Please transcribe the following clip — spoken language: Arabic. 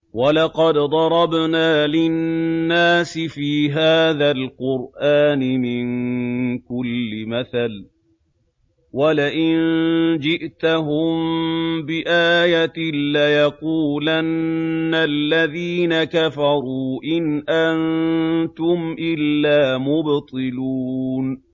وَلَقَدْ ضَرَبْنَا لِلنَّاسِ فِي هَٰذَا الْقُرْآنِ مِن كُلِّ مَثَلٍ ۚ وَلَئِن جِئْتَهُم بِآيَةٍ لَّيَقُولَنَّ الَّذِينَ كَفَرُوا إِنْ أَنتُمْ إِلَّا مُبْطِلُونَ